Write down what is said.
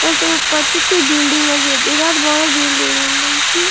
আর তার পাশে একটি বিল্ডিং আছে। বিরাট বড় বিল্ডিং । বিল্ডিং টি --